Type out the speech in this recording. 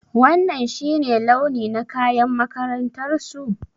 Wanan shi ne launi na kayan makarantar su?